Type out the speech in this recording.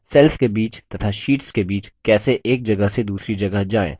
cells के बीच तथा शीट्स के बीच कैसे एक जगह से दूसरी जगह जाएँ